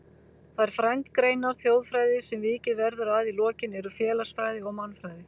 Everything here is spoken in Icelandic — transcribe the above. Þær frændgreinar þjóðfræði sem vikið verður að í lokin eru félagsfræði og mannfræði.